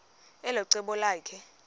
elo cebo lakhe